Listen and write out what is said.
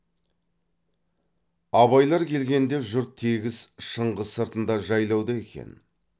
абайлар келгенде жұрт тегіс шыңғыс сыртында жайлауда екен